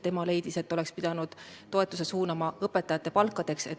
Tema leidis, et oleks pidanud selle toetuse suunama õpetajate palkadeks.